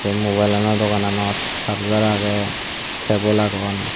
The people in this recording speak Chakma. tey mubailo dogananot sarjar agey cebul agon.